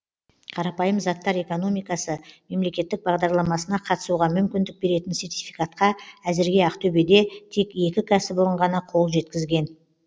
қарапайым заттар экономикасы мемлекеттік бағдарламасына қатысуға мүмкіндік беретін сертификатқа әзірге ақтөбеде тек екі кәсіпорын ғана қол жеткізген